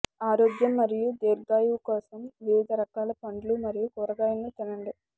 ఆరోగ్యం మరియు దీర్ఘాయువు కోసం వివిధ రకాల పండ్లు మరియు కూరగాయలను తినండి